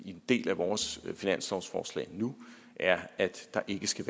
en del af vores finanslovsforslag nu er at der ikke skal